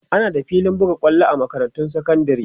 ana da filin buga kwallo a makarantun sekandari